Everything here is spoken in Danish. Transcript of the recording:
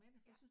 Ja